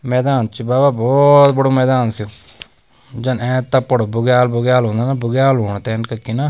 मैदान च बाबा भौत बड़ु मैदान जन एंच तप्पड़ बुग्याल वुग्याल होंदा न बुग्याल होण तेन कखी न।